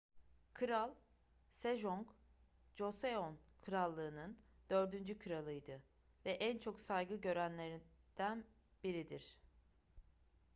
kral sejong joseon krallığı'nın dördüncü kralıydı ve en çok saygı görenlerden biridir